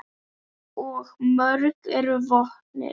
Og mörg eru vötnin.